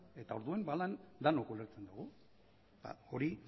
eta orduan ba denok ulertzen dugu eta hori